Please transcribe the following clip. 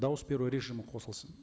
дауыс беру режимі қосылсын